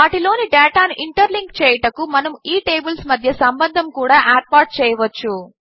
వాటిలోని డేటాను ఇంటర్లింక్ చేయుటకు మనము ఈ టేబిల్స్ మధ్య సంబంధము చూడా ఏర్పాటు చేయవచ్చు